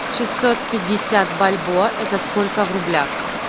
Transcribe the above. шестьсот пятьдесят бальбоа это сколько в рублях